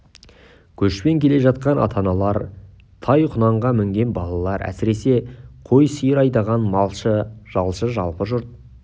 көшпен келе жатқан ата-аналар тай-құнанға мінген балалар әсіресе қой сиыр айдаған малшы жалшы жалпы жұрт